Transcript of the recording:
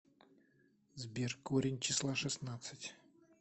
сбер корень числа шестнадцать